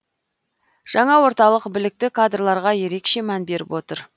жаңа орталық білікті кадрларға ерекше мән беріп отыр